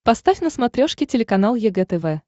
поставь на смотрешке телеканал егэ тв